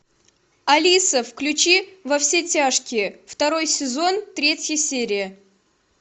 алиса включи во все тяжкие второй сезон третья серия